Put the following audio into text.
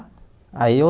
Aí eu...